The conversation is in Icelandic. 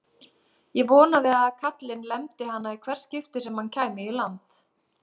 Og vonaði að kallinn lemdi hana í hvert skipti sem hann kæmi í land!